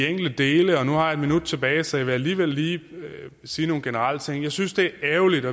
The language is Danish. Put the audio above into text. enkelte dele nu har jeg et minut tilbage og så jeg vil alligevel lige sige nogle generelle ting jeg synes det er ærgerligt